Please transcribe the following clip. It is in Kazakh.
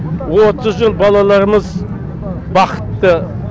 отыз жыл балаларымыз бақытты